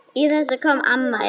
Í þessu kom amma inn.